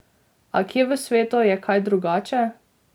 A kje v svetu je kaj drugače?